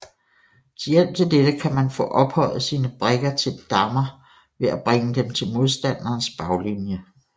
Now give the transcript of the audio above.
Til hjælp til dette kan man få ophøjet sine brikker til dammer ved at bringe dem til modstanderens baglinje